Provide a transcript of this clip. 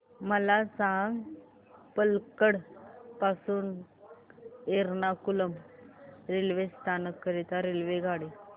मला सांग पलक्कड पासून एर्नाकुलम रेल्वे स्थानक करीता रेल्वेगाडी